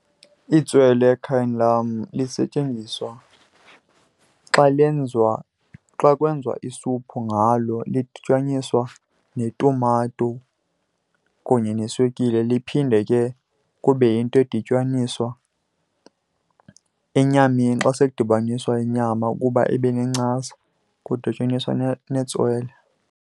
Itswele ekhayeni lam lisetyenziswa xa lenziwa, xa kwenziwa isuphu ngalo, lidityaniswa netumato kunye neswekile. Liphinde ke kube yinto edityaniswa enyameni xa sekudibaniswa inyama ukuba ibe nencasa, kudityaniswa netswele.